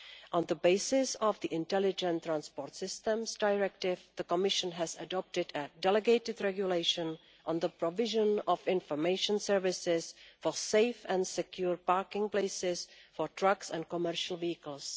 On the basis of the Intelligent Transport Systems Directive, the Commission has adopted a delegated regulation on the provision of information services for safe and secure parking places for trucks and commercial vehicles.